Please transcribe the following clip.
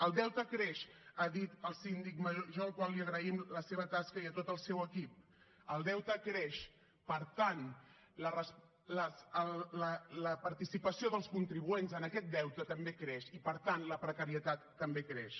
el deute creix ha dit el síndic major al qual agraïm la seva tasca i a tot el seu equip el deute creix per tant la participació dels contribuents en aquest deute també creix i per tant la precarietat també creix